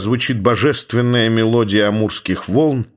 звучит божественная мелодия амурских волн